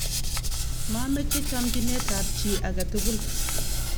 mameche chomchinetab chi age tugul